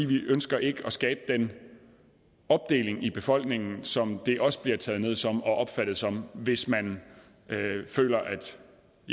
vi ønsker ikke at skabe den opdeling i befolkningen som det også bliver taget ned som og opfattet som hvis man føler